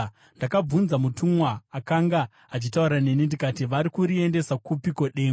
Ndakabvunza mutumwa akanga achitaura neni ndikati, “Vari kuriendesa kupiko, dengu?”